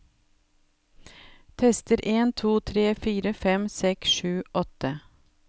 Tester en to tre fire fem seks sju åtte